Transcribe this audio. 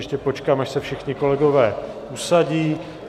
Ještě počkám, až se všichni kolegové usadí.